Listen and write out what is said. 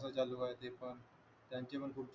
काय चाललंय ते पण त्यांची पण खूप